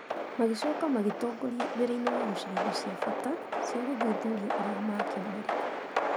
Magĩcoka magĩtongoria wĩra-inĩ wa gũcaria indo cia bata cia gũthuthuria iria mangĩonire.